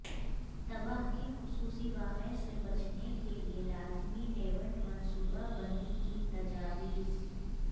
تباہ کن خصوصی واقعہ سے بچنے کے لئے لازمی ایونٹ منصوبہ بندی کی تجاویز